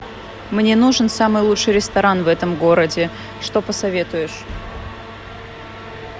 мне нужен самый лучший ресторан в этом городе что посоветуешь